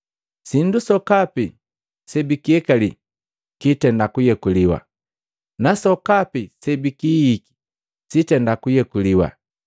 Sindu sokapi sebikiyekali kiitenda kuyekuliwa, nasokapi sebikihihiki sitenda kuyekuliwa.